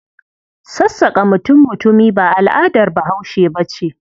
Sassaƙa mutum-mutumi ba al'adar Bahaushe ba ce.